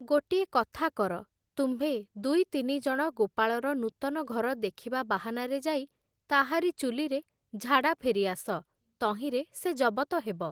ଗୋଟିଏ କଥା କର, ତୁମ୍ଭେ ଦୁଇ ତିନି ଜଣ ଗୋପାଳର ନୂତନ ଘର ଦେଖିବା ବାହାନାରେ ଯାଇ ତାହାରି ଚୁଲିରେ ଝାଡ଼ା ଫେରିଆସ, ତହିଁରେ ସେ ଜବତ ହେବ ।